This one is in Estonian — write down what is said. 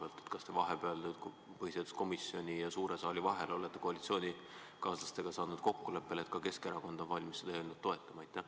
Kas te olete vahepeal, põhiseaduskomisjoni ja suure saali istungi vahel, saanud koalitsioonikaaslastega kokkuleppele, nii et ka Keskerakond on valmis seda eelnõu toetama?